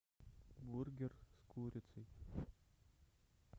бургер с курицей